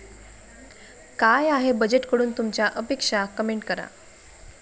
काय आहे बजेटकडून तुमच्या अपेक्षा, कमेंट करा